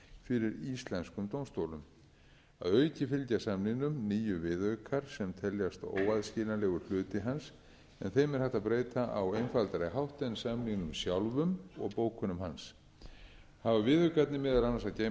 fyrir íslenskum dómstólum að auki fylgja samningnum níu viðaukar sem teljast óaðskiljanlegur hluti hans en þeim er hægt að breyta á einfaldari hátt en samningnum sjálfum og bókunum hans hafa viðaukarnir meðal annars að geyma